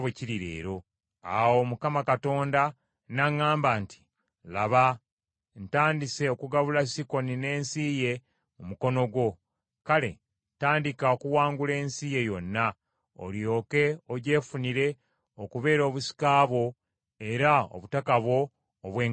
Awo Mukama Katonda n’aŋŋamba nti, “Laba, ntandise okugabula Sikoni n’ensi ye mu mukono gwo. Kale tandika okuwangula ensi ye yonna, olyoke ogyefunire okubeera obusika bwo era obutaka bwo obw’enkalakkalira.”